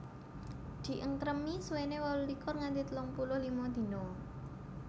Di engkremi suwene wolulikur nganti telung puluh lima dina